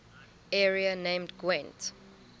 area named gwent